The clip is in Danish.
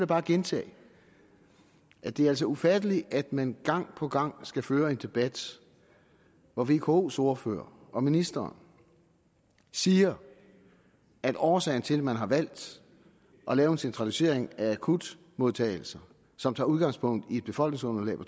bare at gentage at det altså er ufatteligt at man gang på gang skal føre en debat hvor vkos ordførere og ministeren siger at årsagen til at man har valgt at lave en centralisering af akutmodtagelserne som tager udgangspunkt i et befolkningsunderlag på